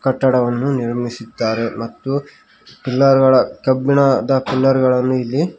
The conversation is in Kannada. ಕಟ್ಟಡವನ್ನು ನಿರ್ಮಿಸಿದ್ದಾರೆ ಮತ್ತು ಪಿಲ್ಲರ್ ಗಳ ಕಬ್ಬಿಣದ ಪಿಲ್ಲರ್ ಗಳನ್ನು ಇಲ್ಲಿ --